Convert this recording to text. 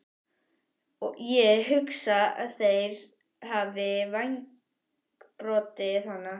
Ég hugsa að þeir hafi vængbrotið hana